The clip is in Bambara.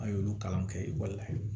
An y'olu kalan kɛ ekɔli la